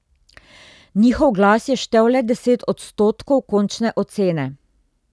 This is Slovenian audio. Njihov glas je štel le deset odstotkov končne ocene.